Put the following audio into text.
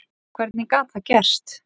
Hvernig gat það gerst?